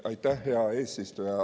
Aitäh, hea eesistuja!